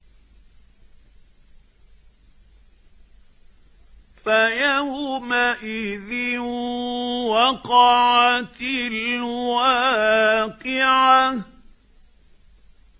فَيَوْمَئِذٍ وَقَعَتِ الْوَاقِعَةُ